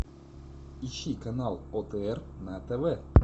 ищи канал отр на тв